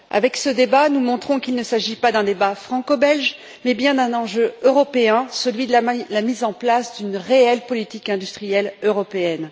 Avec ce débat, nous montrons qu'il ne s'agit pas d'un débat franco belge, mais bien d'un enjeu européen, celui de la mise en place d'une réelle politique industrielle européenne.